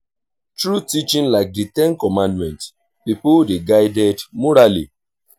through teaching like di ten commandment pipo dey guided morally